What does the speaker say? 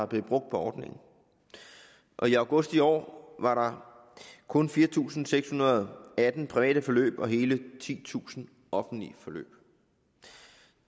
blev brugt på ordningen og i august i år var der kun fire tusind seks hundrede og atten private forløb og hele titusind offentlige forløb